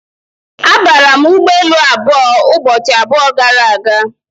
Abara m ụgbọelu abụọ ụbọchị abụọ gara aga.